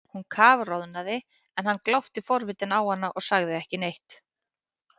Hún kafroðnaði en hann glápti forvitinn á hana og sagði ekki neitt.